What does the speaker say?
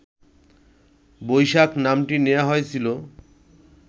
বৈশাখ নামটি নেয়া হয়েছিলো